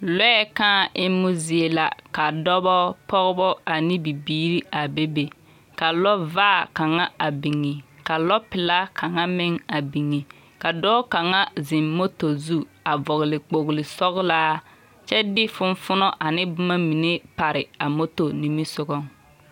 Lɔɛ kãã emmo zie la ka dɔbɔ pɔgbɔ ane bibiiri a bebe, ka lɔvaa kaŋa a biŋi, ka lɔpelaa kaŋa meŋ a biŋi ka dɔɔ kaŋa zeŋ moto zu a vɔgle kpgli sɔglaa kyɛ de fonfonɔ ane boma pare a moto nimisogɔ.